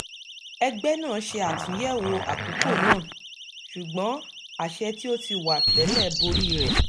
ẹgbẹ́ náà ṣe àtúnyẹ̀wọ̀ àkókò náà ṣùgbọ́n àṣẹ tí ó ti wà tẹ́lẹ̀ borí rẹ̀